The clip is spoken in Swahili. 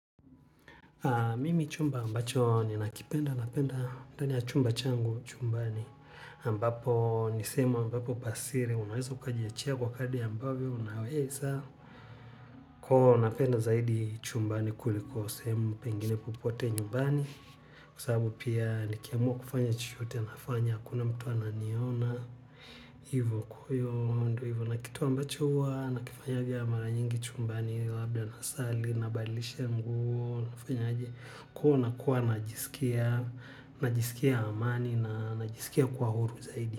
Mimi chumba ambacho ninakipenda chumba changu chumbani ambapo ni sehemu ambapo pa siri unaweza ukajiche kwa kadri ambavyo unaweza kwa hivyo napenda zaidi chumbani kuliko sehemu pengine popote nyumbani. Kwa sababu pia nikiamua kufanya chochote nafanya, hakuna mtu ananiona. Hivo kwa hiyo ndio hivo. Na kitu ambacho huwa nakifanya vya mara nyingi chumbani labda nasali, nabadilisha nguo nafanya aje kuona kuwa najisikia najisikia amani na najisikia kuwa huru zaidi.